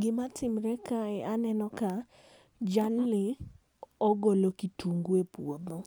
Gima timore kae aneno ka jalni ogolo kitungu e puodho.